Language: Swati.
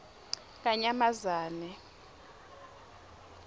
kanyamazane